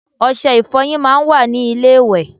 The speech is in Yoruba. Ose ìfoyín máa n wa ní ilé ìwè